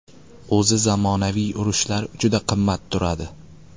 O‘zi zamonaviy urushlar juda qimmat turadi.